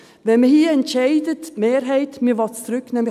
Wenn die Mehrheit hier entscheidet, dass man es zurücknehmen soll: